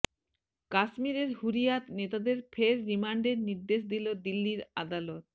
কাশ্মিরের হুররিয়াত নেতাদের ফের রিমান্ডের নির্দেশ দিল দিল্লির আদালত